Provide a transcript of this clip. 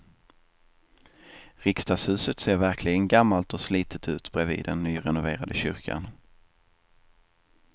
Riksdagshuset ser verkligen gammalt och slitet ut bredvid den nyrenoverade kyrkan.